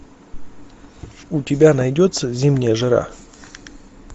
у тебя найдется зимняя жара